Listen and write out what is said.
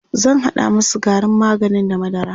zan hada masu garin maganin da madara